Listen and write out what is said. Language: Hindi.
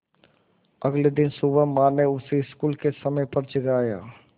अगले दिन सुबह माँ ने उसे स्कूल के समय पर जगाया